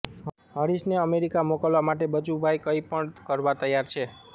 હરીશને America મોકલવા માટે બચુભાઇ કંઈ પણ કરવા તૈયાર છે